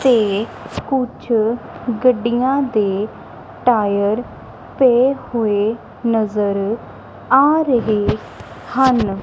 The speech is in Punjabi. ਤੇ ਕੁਛ ਗੱਡੀਆਂ ਦੇ ਟਾਇਰ ਪੇ ਹੋਏ ਨਜ਼ਰ ਆ ਰਹੇ ਹਨ।